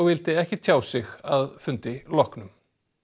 vildi ekki tjá sig að fundi loknum